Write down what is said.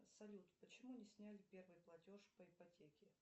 салют почему не сняли первый платеж по ипотеке